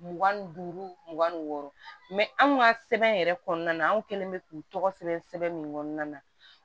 Mugan ni duuru mugan ni wɔɔrɔ anw ka sɛbɛn yɛrɛ kɔnɔna na anw kɛlen bɛ k'u tɔgɔ sɛbɛn sɛbɛn min kɔnɔna na